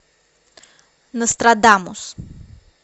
нострадамус